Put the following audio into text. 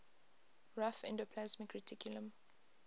rough endoplasmic reticulum